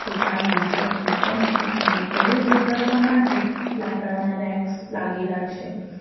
દુકાનમાં છતનું પંખો અને ફળો ગોઠવવા માટે લાકડાના રેક્સ લાગેલા છે.